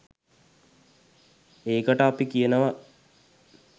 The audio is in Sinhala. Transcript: ඒකට අපි කියනවා.